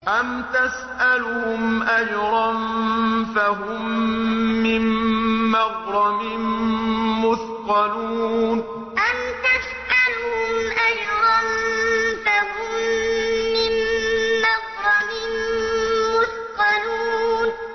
أَمْ تَسْأَلُهُمْ أَجْرًا فَهُم مِّن مَّغْرَمٍ مُّثْقَلُونَ أَمْ تَسْأَلُهُمْ أَجْرًا فَهُم مِّن مَّغْرَمٍ مُّثْقَلُونَ